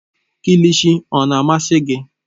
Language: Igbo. Kilshi ọ na-amasị gị?